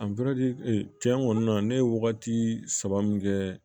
tiɲɛ kɔni na ne ye wagati saba min kɛ